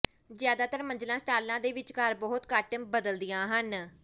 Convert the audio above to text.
ਜ਼ਿਆਦਾਤਰ ਮੰਜ਼ਲਾਂ ਸਟਾਲਾਂ ਦੇ ਵਿਚਕਾਰ ਬਹੁਤ ਘੱਟ ਬਦਲਦੀਆਂ ਹਨ